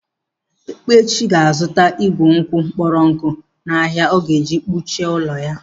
Ekpechi ga-azuta igù nkwụ kpọrọ nkụ n'ahia ọ ga-eji kechie ụlọ ya.